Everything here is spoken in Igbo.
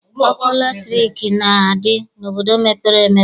Ọkụ latrik na-adị n'obodo mepere emepe.